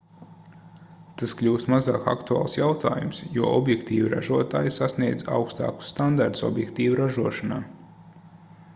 tas kļūst mazāk aktuāls jautājums jo objektīvu ražotāji sasniedz augstākus standartus objektīvu ražošanā